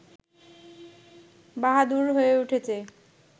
বাহাদুর হয়ে উঠেছে